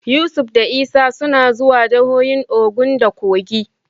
Yusuf da Isa suna zuwa jahohin Ogun da Kogi.